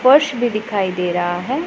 फर्श भी दिखाई दे रहा है।